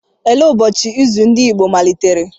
Olee ụbọchị izu ndị Igbo malitere?